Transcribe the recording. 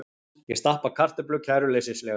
Ég stappa kartöflu kæruleysislega.